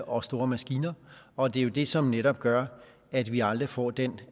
og store maskiner og det er jo det som netop gør at vi aldrig får den